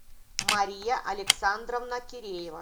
мария александровна киреева